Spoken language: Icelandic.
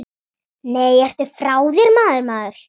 Nei, ertu frá þér, maður.